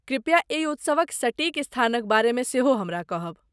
कृप्या एहि उत्सवक सटीक स्थानक बारेमे सेहो हमरा कहब।